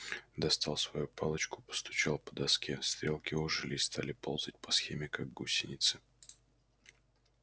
достал свою палочку постучал по доске стрелки ожили и стали ползать по схеме как гусеницы